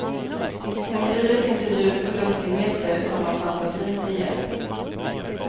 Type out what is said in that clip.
Om livet inte bjuder på lustigheter tar man fantasin till hjälp.